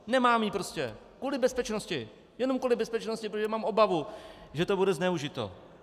Nemám ji prostě kvůli bezpečnosti, jenom kvůli bezpečnosti, protože mám obavu, že to bude zneužito.